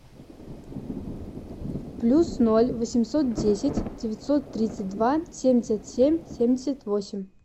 плюс ноль восемьсот десять девятьсот тридцать два семьдесят семь семьдесят восемь